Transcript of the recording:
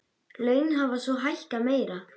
Laun hafa svo hækkað meira.